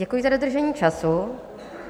Děkuji za dodržení času.